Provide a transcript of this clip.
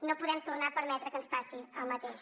no podem tornar a permetre que ens passi el mateix